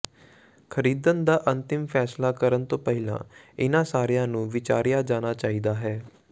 ਖਰੀਦਣ ਦਾ ਅੰਤਿਮ ਫੈਸਲਾ ਕਰਨ ਤੋਂ ਪਹਿਲਾਂ ਇਹਨਾਂ ਸਾਰਿਆਂ ਨੂੰ ਵਿਚਾਰਿਆ ਜਾਣਾ ਚਾਹੀਦਾ ਹੈ